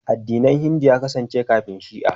Addinin Hindu ya kasance kafin Shi'a.